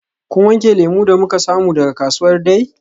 Kun wanke lemu da muka samu daga kasuwar Dei?